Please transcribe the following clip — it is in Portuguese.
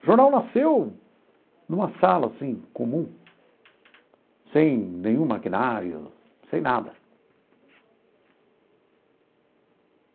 O jornal nasceu numa sala assim comum, sem nenhum maquinário, sem nada.